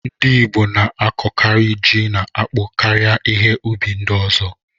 Ndị Igbo na-akọkari ji na akpụ karịa ihe ụbi ndi ọzọ.